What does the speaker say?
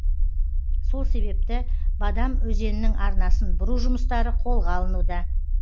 сол себепті бадам өзенінің арнасын бұру жұмыстары қолға алынуда